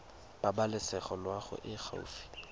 pabalesego loago e e gaufi